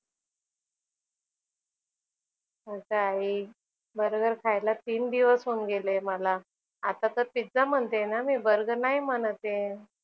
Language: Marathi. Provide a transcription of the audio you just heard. अगं आई बर्गर खायला तीन दिवस होऊन गेले मला. आता तर पिझ्झा म्हणतेय ना मी बर्गर नाही म्हणत आहे.